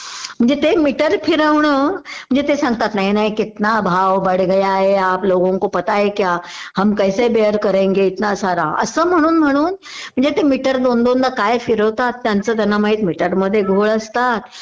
म्हणजे ते मीटर फिरवणं म्हणजे ते सांगतात नाही नाही कितना भाव बढ गया हैं आप लोगोंको पता है क्या हम कैसे बेर करेंगे इतनासारा असं म्हणून म्हणून म्हणजे ते दोन दोनदा काय फिरवतात त्यांचं त्यांना माहित म्हणजे मीटर मध्ये काय घोळ असतात